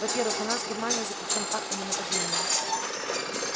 во-первых у нас с германией заключён пакт о ненападении